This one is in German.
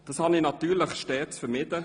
Das habe ich natürlich stets vermieden.